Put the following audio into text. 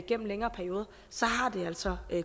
gennem længere perioder så har det altså